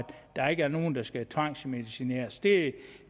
der ikke er nogen der skal tvangsmedicineres det